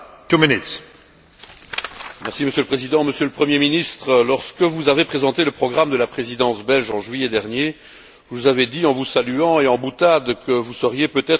Monsieur le Président, Monsieur le Premier ministre, lorsque vous avez présenté le programme de la Présidence belge en juillet dernier, je vous avais dit, en vous saluant et en boutade, que vous seriez peut être encore là en janvier pour nous présenter le bilan.